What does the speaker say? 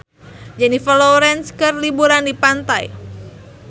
Jennifer Lawrence keur liburan di pantai